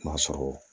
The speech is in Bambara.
M'a sɔrɔ